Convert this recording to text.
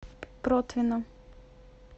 протвино